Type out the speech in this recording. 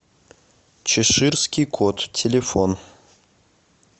чеширский кот телефон